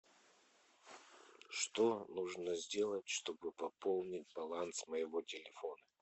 что нужно сделать чтобы пополнить баланс моего телефона